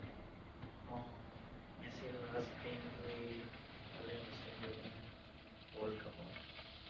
মেছিয়ে last dream টো এই পালে last ত গৈ কিনে, world cup ৰ।